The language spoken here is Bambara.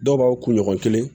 Dɔw b'aw kunɲɔgɔn kelen